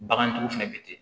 Bagantigiw fɛnɛ be ten